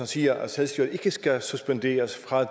siger at selvstyret ikke skal suspenderes og